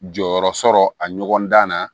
Jɔyɔrɔ sɔrɔ a ɲɔgɔn dan na